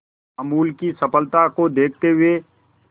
अमूल की सफलता को देखते हुए